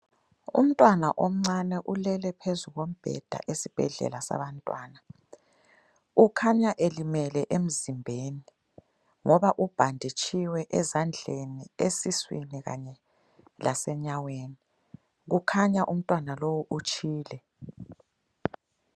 Umntwana omncane ulele phezu kombheda esibhedlela sabantwana. Ukhanya elimele emzimbeni ngoba ubhanditshiwe ezandleni, esiswini kanye lasenyaweni. Kukhanya umntwana lowu utshile.